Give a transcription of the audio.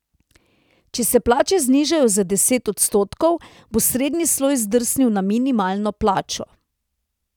Če se plače znižajo za deset odstotkov, bo srednji sloj zdrsnil na minimalno plačo.